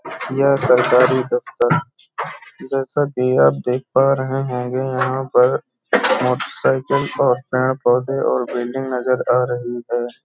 यह सरकारी दफ्तर जैसा की आप देख पा रहें हैं। यहां पर मोटरसायकल और पेड़-पौधे और बिल्डिंग नजर आ रही है।